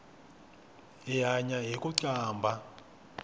hi hanya hiku qambha